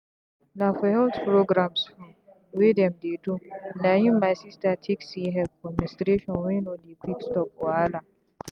na for health programmes hmmmwey dem dey do na him my sister take see help for menstruation wey no dey quick stop wahala.